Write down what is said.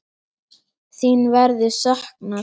Þín verður saknað.